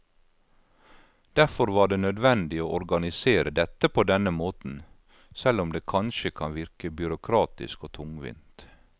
Derfor var det nødvendig å organisere dette på denne måten, selv om det kanskje kan virke byråkratisk og tungvint.